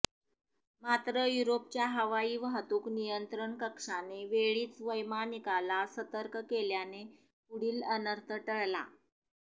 मात्र युरोपच्या हवाई वाहतूक नियंत्रण कक्षाने वेळीच वैमानिकाला सर्तक केल्याने पुढील अनर्थ टळला